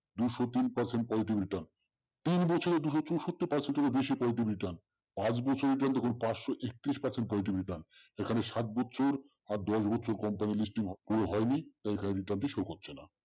দুশো তিন percent positive return তিন বছরে দুশো চৌষট্টি percent এর ও বেশি positive return পাঁচ বছরে return তখন পাঁচশো একত্রিশ percent positive return এখানে সাত বছর আর দশ বছর company listing হয়নি তাই এখানে return টি show করছে না।